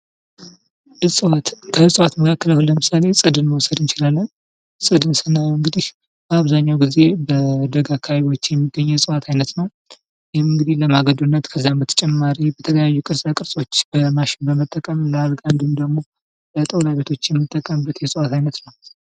እፅዋት፦ ከእፅዋት መካከል አሁን ለምሳሌ ፅድን መውሰድ እንችላለን። ፅድን ስናየው እንግዲህ አብዛኛውን ጊዜ በደጋ አካባቢዎች የሚገኝ የእፅዋት አይነት ነው። ይህም እንግዲህ ለማገዶነት ከዚያም በተጨማሪ በተለያዩ ቅርፃ-ቅርፆች በማሽን በመጠቀም ለአልጋ ወይንም ደግሞ ለጣውላ ቤቶች የምንጠቀምበት የእፅዋት አይነት ነው።